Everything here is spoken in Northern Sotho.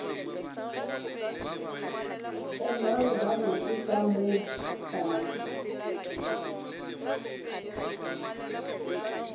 emang gabotse ka moo tlase